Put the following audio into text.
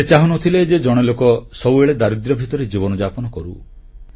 ସେ ଚାହୁଁନଥିଲେ ଯେ ଜଣେ ଲୋକ ସବୁବେଳେ ଦାରିଦ୍ର୍ୟ ଭିତରେ ଜୀବନଯାପନ କରୁ